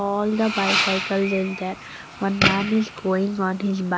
All the bicycle is there one man is going on his bi--